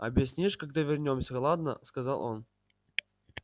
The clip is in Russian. объяснишь когда вернёмся ладно сказал он